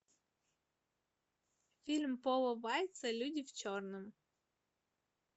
фильм пола вайца люди в черном